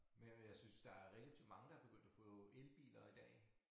Men men jeg synes der er relativt mange der er begyndt at få elbiler i dag